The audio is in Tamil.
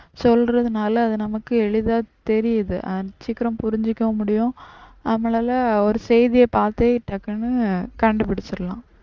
சொல்றதுனால அது நமக்கு எளிதா தெரியுது சீக்கிரம் புரிஞ்சிக்கவும் முடியும் நம்மளால ஒரு செய்திய பாத்தே டக்குனு கண்டுபுடிச்சிடலாம்.